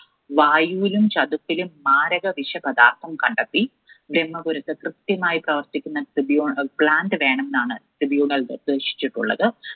വായുവിലും ചതുപ്പിലും മാരക വിഷപദാർത്ഥം കണ്ടെത്തി. ബ്രഹ്മപുരത്ത് കൃത്യമായി പ്രവർത്തിക്കുന്ന tribunal, plant വേണമെന്നാണ് tribunal നിർദ്ദേശിച്ചിട്ടുള്ളത്.